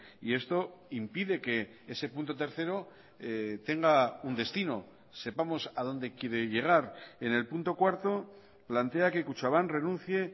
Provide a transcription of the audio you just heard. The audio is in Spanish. y esto impide que ese punto tercero tenga un destino sepamos a donde quiere llegar en el punto cuarto plantea que kutxabank renuncie